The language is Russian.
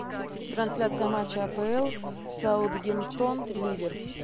трансляция матча апл саутгемптон ливер